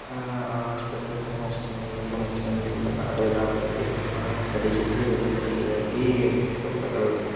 ಅಹ್ hospitals ಅಷ್ಟೇನೇ ಮುಚ್ಕೊಂಡಿದೆ ಗಲೀಜಾಗಿದೆ ನೋಡಿದ್ರೇನ ಅಲ್ಲೇ ಅಲ್ಲಿ.